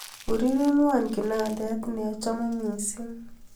ureremwon kinandet neochome missing